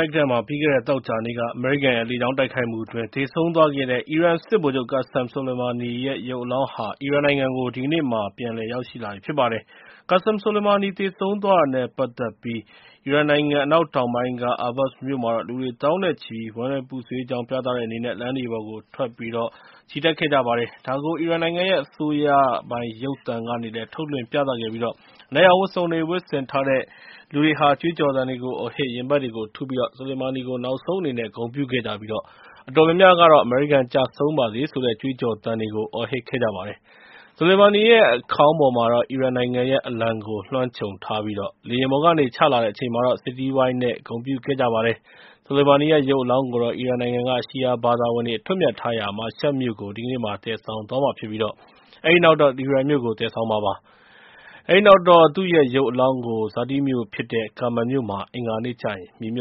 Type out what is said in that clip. က်မှာ ပြီးခဲ့တဲ့ သောကြာနေ့က အမေရိကန်ရဲ့ လေကြောင်းတိုက်ခိုက်မှုအတွင်း သေဆုံးသွားခဲ့တဲ့ အီရန်စစ်ဗိုလ်ချုပ် Qassem Soleimani ရဲ့ ရုပ်အလောင်းဟာ အီရန်နိုင်ငံကို ပြန်ရောက်လာပြီ ဖြစ်ပါတယ်။ Qassem Soleimani သေဆုံးသွားတာနဲ့ ပတ်သက်ပြီး အီရန်နိုင်ငံ အနောက်တောင်ပိုင်းက Ahvaz မြို့မှာတော့ လူတွေသောင်းနဲ့ချီပြီး ဝမ်းနည်းပူဆွေးကြောင်း ပြသတဲ့အနေနဲ့ လမ်းတွေပေါ်ကိုထွက် ချီတက်ခဲ့ကြပါတယ်။ ဒါကို အီရန်နိုင်ငံရဲ့ အစိုးရပိုင် ရုပ်သံကနေလည်း ထုတ်လွှင့်ပြသခဲ့ပြီး အနက်ရောင်ဝတ်စုံတွေ ဝတ်ထားတဲ့လူတွေဟာ ကြွေးကြော်သံတွေကို အော်ဟစ် ရင်ဘတ်တွေကိုထုပြီး Soleimani ကို နောက်ဆုံးအနေနဲ့ ဂုဏ်ပြုခဲ့ကြပြီး အတော်များများကတော့ အမေရိကန် ကျဆုံးပါစေဆိုတဲ့ ကြွေးကြော်သံတွေကို အော်ဟစ်ခဲ့ကြပါတယ်။ Soleimani ရဲ့ အခေါင်းပေါ်မှာတော့ အီရန်နိုင်ငံရဲ့ အလံကို လွှမ်းခြုံထားပြီး လေယာဉ်ပေါ်ကနေ ချလာတဲ့အချိန်မှာတော့ စစ်တီးဝိုင်းနဲ့ ဂုဏ်ပြုခဲ့ကြပါတယ်။ Soleimani ရဲ့ ရုပ်အလောင်းကို အီရန်နိုင်ငံက ရှီယာဘာသာဝင်တွေ အထွတ်အမြတ်ထားရာ မာရှတ်မြို့ကို ဒီကနေ့မှာ သယ်ဆောင်သွားမှာဖြစ်ပြီး အဲဒီနောက်တော့ တီဟီရန်မြို့ကို သယ်ဆောင်မှာဖြစ်ပါတယ်။ အဲဒီနောက်တော့ သူ့ရဲ့ ဇာတိမြို့ဖြစ်တဲ့ Kermen မြို့မှာ အင်္ဂါနေ့ကျရင် မြေမြ